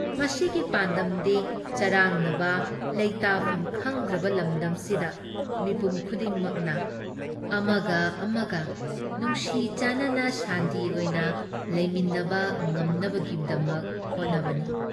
ꯃꯁꯤꯒꯤ ꯄꯥꯟꯗꯝꯗꯤ ꯆꯔꯥꯡꯅꯕ ꯂꯩꯇꯥꯐꯝ ꯈꯪꯗ꯭ꯔꯕ ꯂꯝꯗꯝꯁꯤꯗ ꯃꯤꯄꯨꯝ ꯈꯨꯗꯤꯡꯅ ꯑꯃꯒ ꯑꯃꯒ ꯅꯨꯡꯁꯤ ꯆꯥꯟꯅꯅ ꯁꯥꯟꯇꯤ ꯑꯣꯏꯅ ꯂꯩꯃꯤꯟꯅꯕ ꯉꯝꯅꯕꯒꯤꯗꯃꯛ ꯍꯣꯠꯅꯕꯅꯤ ꯫